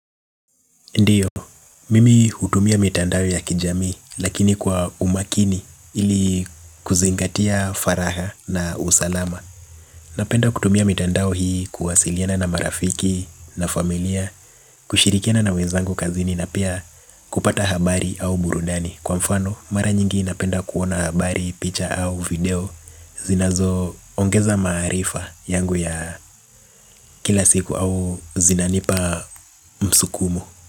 Ndiyo, mimi hutumia mitandao ya kijamii lakini kwa umakini ili kuzingatia faragha na usalama. Napenda kutumia mitandao hii kuwasiliana na marafiki na familia, kushirikiana na wezangu kazini na pia kupata habari au burundani. Kwa mfano, mara nyingi napenda kuona habari, picha au video zinazoongeza maarifa yangu ya kila siku au zinanipa msukumo.